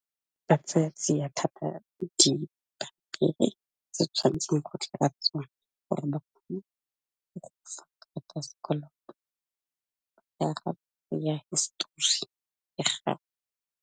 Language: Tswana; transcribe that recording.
Ba tsaya tsiya thata dipampiri tse tshwantseng go tlatswa gore ba kgone go gofa karata ya sekoloto, ka hisetori ya gago.